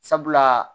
Sabula